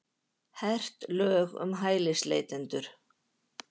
Hert lög um hælisleitendur